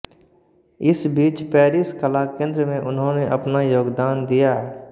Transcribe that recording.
इस बीच पैरिस कलाकेन्द्र में उन्होने अपना योगदान दिया